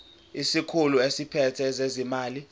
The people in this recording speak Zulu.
isikhulu esiphethe ezezimali